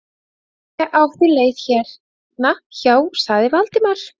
Ég átti leið hérna hjá- sagði Valdimar.